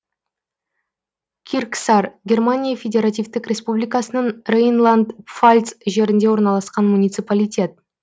кирксар германия федеративтік республикасының рейнланд пфальц жерінде орналасқан муниципалитет